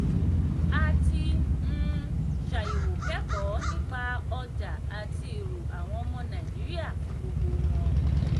a ti um ṣàyẹ̀wò kẹ́kọ̀ọ́ nípa ọjà àti èrò àwọn ọmọ nàìjíríà fún gbogbo wọn.